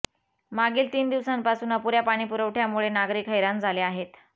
मागील तीन दिवसांपासून अपुऱ्या पाणीपुरवठ्यामुळे नागरिक हैराण झाले आहेत